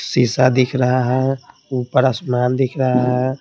शीशा दिख रहा है ऊपर आसमान दिख रहा है।